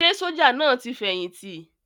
Ṣé sójà náà ti fẹ̀yìntì?